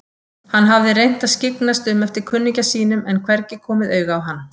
Hann hafði reynt að skyggnast um eftir kunningja sínum en hvergi komið auga á hann.